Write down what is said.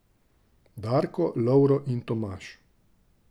Darko, Lovro in Tomaž.